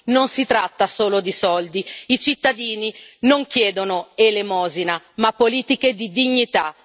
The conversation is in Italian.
Non si tratta solo di soldi i cittadini non chiedono elemosina, ma politiche di dignità.